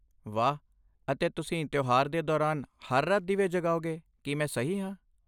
ਵਾਹ। ਅਤੇ ਤੁਸੀਂ ਤਿਉਹਾਰ ਦੇ ਦੌਰਾਨ ਹਰ ਰਾਤ ਦੀਵੇ ਜਗਾਓਗੇ, ਕੀ ਮੈਂ ਸਹੀ ਹਾਂ?